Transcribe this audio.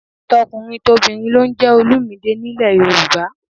Tọkùnrintobìnrin ló ń jẹ́ Olumide nílẹ̀ Yorùbá